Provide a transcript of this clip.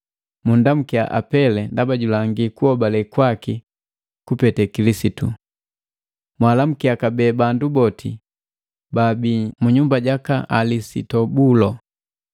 Mundamukia Apele ndaba julangi kuhobale kwaki kupete Kilisitu. Mwaalamukia kabee bandu boti baabii mu nyumba jaka Alisitobulo.